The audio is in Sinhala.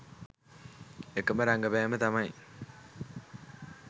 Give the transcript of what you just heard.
එකම රගපෑම තමයි